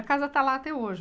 A casa está lá até hoje.